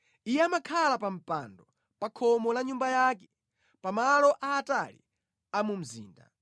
Iye amakhala pa mpando, pa khomo la nyumba yake, pamalo aatali a mu mzinda,